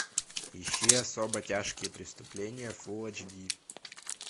ищи особо тяжкие преступления фулл эйч ди